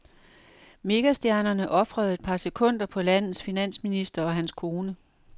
Megastjernerne ofrede et par sekunder på landets finansminister og hans kone.